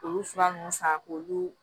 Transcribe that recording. Olu fura ninnu san k'olu